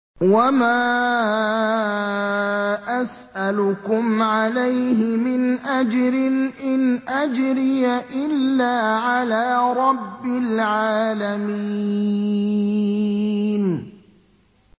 وَمَا أَسْأَلُكُمْ عَلَيْهِ مِنْ أَجْرٍ ۖ إِنْ أَجْرِيَ إِلَّا عَلَىٰ رَبِّ الْعَالَمِينَ